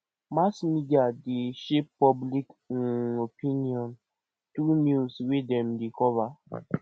mass media dey shape public um opinion through news wey dem dey cover